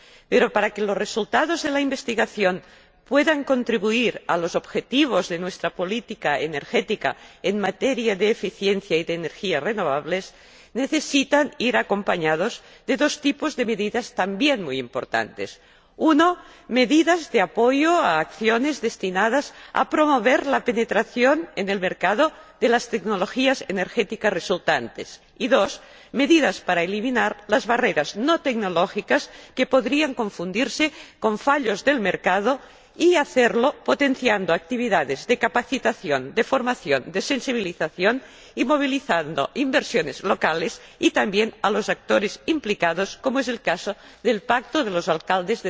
Pero para que los resultados de la investigación puedan contribuir a los objetivos de nuestra política energética en materia de eficiencia y de energías renovables, necesitan ir acompañados de dos tipos de medidas también muy importantes en primer lugar, medidas de apoyo a acciones destinadas a promover la penetración en el mercado de las tecnologías energéticas resultantes y, en segundo lugar, medidas para eliminar las barreras no tecnológicas, que podrían confundirse con fallos del mercado, y hacerlo potenciando actividades de capacitación, de formación, de sensibilización, y movilizando inversiones locales y, también, a los actores implicados, como es el caso del Pacto de las